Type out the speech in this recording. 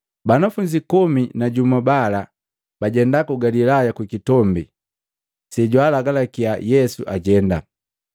Banafunzi komi na jumu bala bajenda ku Galilaya kukitombi sejwaalagalakia Yesu ajenda.